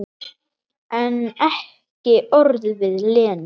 En ekki orð við Lenu.